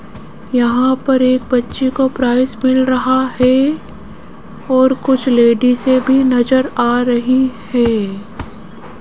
यहां पर एक बच्चे को प्राइस मिल रहा है और कुछ लेडिसे भी नजर आ रही हैं।